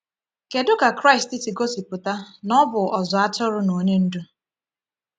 Kedu ka Kraịst si gosipụta na Ọ bụ Ọzụ Atụrụ na Onye Ndú?